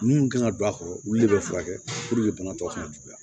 Mun kan ka don a kɔrɔ olu de be furakɛ bana tɔ kana juguya